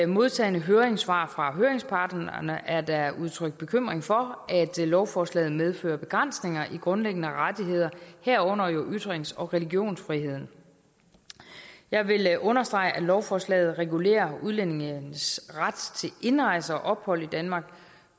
modtagne høringssvar fra høringsparterne er der udtrykt bekymring for at lovforslaget medfører begrænsninger i grundlæggende rettigheder herunder ytrings og religionsfriheden jeg vil understrege at lovforslaget regulerer udlændinges ret til indrejse og ophold i danmark